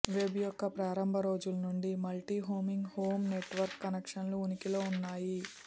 web యొక్క ప్రారంభ రోజుల నుండి మల్టీహోమింగ్ హోమ్ నెట్వర్క్ కనెక్షన్లు ఉనికిలో ఉన్నాయి